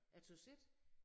Jeg tøs ikke